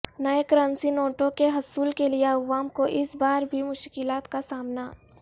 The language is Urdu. نئے کرنسی نوٹوں کے حصول کیلئے عوام کو اس بار بھی مشکلات کا سامنا